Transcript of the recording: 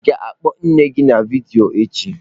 Ị ga-akpọ nne gị na vidiyo echi?